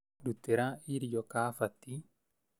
Ndutĩra irio kabati